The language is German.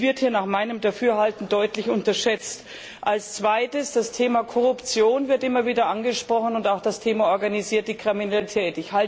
Dies wird hier nach meinem Dafürhalten deutlich unterschätzt. Als zweites Das Thema Korruption wird immer wieder angesprochen und auch das Thema organisierte Kriminalität.